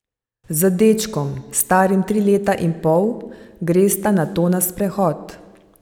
Z dečkom, starim tri leta in pol, gresta nato na sprehod.